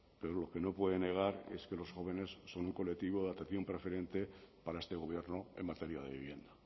pero lo que no puede negar es que los jóvenes son un colectivo de atención preferente para este gobierno en materia de vivienda